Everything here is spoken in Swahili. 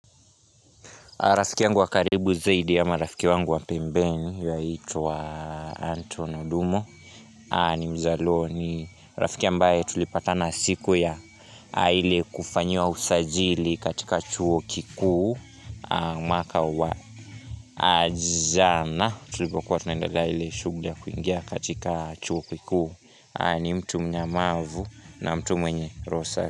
Rafiki yangu wakaribu zaidi ya ma rafiki wangu wapembeni aitwa Anton Odumo ni mzalo ni rafiki ambaye tulipata na siku ya ile kufanyiwa usajili katika chuo kiku mwaka wa jana tulipokuwa tunaendelea ile shughli ya kuingia katika chuo kikuu ni mtu mnyamavu na mtu mwenye roho safi.